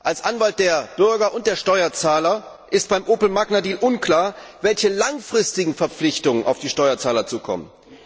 Als Anwalt der Bürger und der Steuerzahler ist beim Opel Magna Deal unklar, welche langfristigen Verpflichtungen auf die Steuerzahler zukommen.